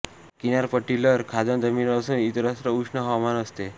किनारपट्टीलर खाजण जमीन असून इतरत्र उष्ण हवामान असते